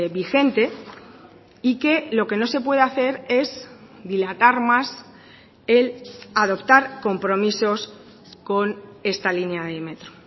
vigente y que lo que no se puede hacer es dilatar más el adoptar compromisos con esta línea de metro